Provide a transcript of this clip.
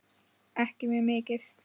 Ekki mjög mikið.